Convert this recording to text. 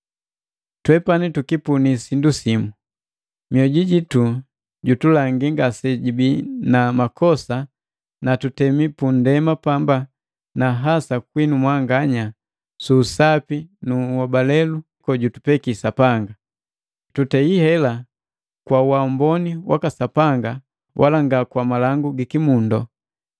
Twepati tukipunii sindu simu: Mioju jitu jutulangi ngasejibii na makosa na tutemi pundema pamba na hasa kwinu mwanganya, suu Sapi nu unhobalelu gojutupeki Sapanga. Tutehi hela kwa uamboni waka Sapanga wala nga kwa malangu gikimundu.